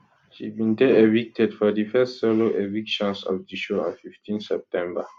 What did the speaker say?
she bin dey evicted for di first solo evictions of di show on 15 september